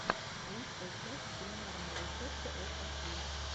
лучшая часть кулинарные рецепты от эсви